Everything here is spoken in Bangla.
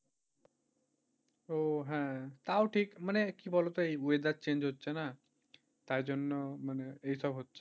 ওহ হ্যাঁ, তাও ঠিক মানে কি বলতো এই weather change হচ্ছে না, তার জন্য মানে এইসব হচ্ছে।